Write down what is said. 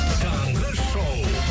таңғы шоу